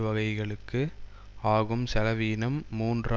வகைகளுக்கு ஆகும் செலவீனம் மூன்று